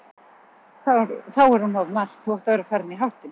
Þá er hún of margt, þú átt að vera farinn í háttinn.